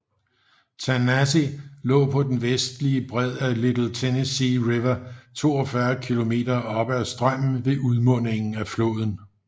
Tanasi lå på den vestlige bred af Little Tennessee River 42 km oppe ad strømmen fra udmundingen af floden